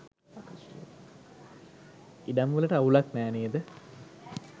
ඉඩම් වලට අවුලක් නෑ නේද?